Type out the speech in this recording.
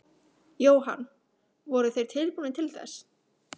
Jóhann: Voru þeir tilbúnir til þess?